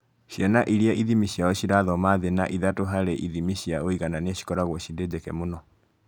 Ciana iria ithimi ciao cirathoma thĩ na ithatũ harĩ ithimi cia ũiganania cikoragwo cirĩ njeke mũno